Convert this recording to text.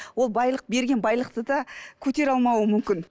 ол байлық берген байлықты да көтере алмауы мүмкін